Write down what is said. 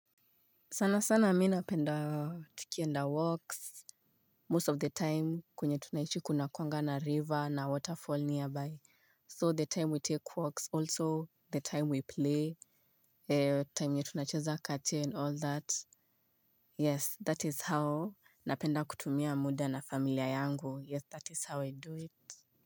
Sana sana mi napenda tukienda walks. Most of the time kwenye tunaishi kuna kuanga na river na waterfall nearby. So the time we take walks also the time we play. Time yenye tunacheza kachen all that. Yes that is how napenda kutumia muda na familia yangu yes that is how I do it.